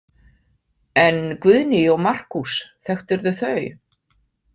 En Guðný og Markús, þekktirðu þau?